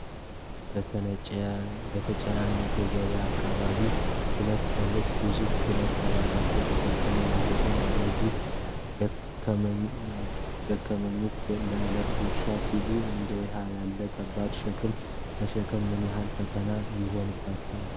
በተጨናነቀ የገበያ አካባቢ፣ ሁለት ሰዎች ግዙፍ ጭነቶችን በራሳቸው ተሸክመው እየሄዱ ነው። እነዚህ ደከመኞች ለዕለት ጉርሳቸው ሲሉ እንዲህ ያለ ከባድ ሸክም መሸከም ምን ያህል ፈተና ይሆንባቸዋል?